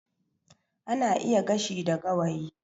Ana iya gashi da gawayi